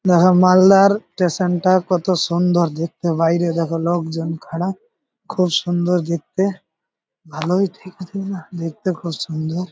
মহা মালদার স্টেশন -টা কত সুন্দর দেখতে বাইরে দেখো লোকজন খাড়ায় খুব সুন্দর দেখতে ভালোই দেখতে খুব সুন্দর--